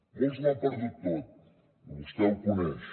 molts ho han perdut tot vostè ho coneix